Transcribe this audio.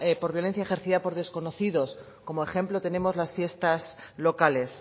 por violencia ejercida por desconocidos como ejemplo tenemos las fiestas locales